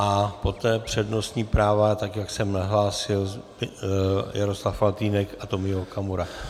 A poté přednostní práva, tak jak jsem nahlásil, Jaroslav Faltýnek a Tomio Okamura.